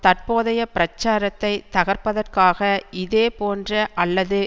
தற்போதைய பிரச்சாரத்தை தகர்ப்பதற்காக இதே போன்ற அல்லது